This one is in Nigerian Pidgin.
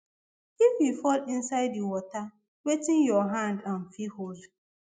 if you fall inside di water wetin your hand um fit hold